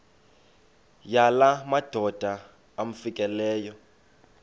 yala madoda amfikeleyo